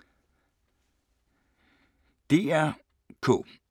DR K